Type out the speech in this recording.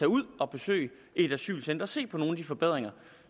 ud og besøge et asylcenter og se på nogle af de forbedringer